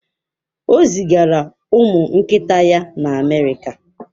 O zigara ụmụ nkịta ya na Amerika?